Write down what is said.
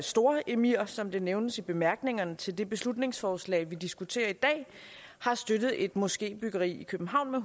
storemir som det nævnes i bemærkningerne til det beslutningsforslag vi diskuterer i dag har støttet et moskébyggeri i københavn med